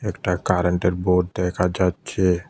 একটা কারেন্টের বোর্ড দেখা যাচ্ছে।